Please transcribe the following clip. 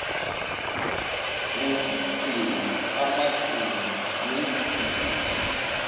ngokugcina amazinyo nezinsini